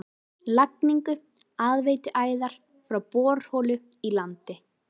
Lagningu aðveituæðar frá borholu í landi